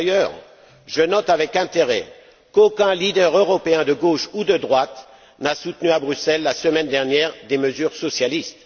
D'ailleurs, je note avec intérêt qu'aucun leader européen de gauche ou de droite n'a soutenu, à Bruxelles, la semaine dernière, des mesures socialistes.